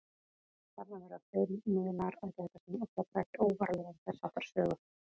Þarna verða fjölmiðlar að gæta sín og fjalla ekki óvarlega um þess háttar sögur.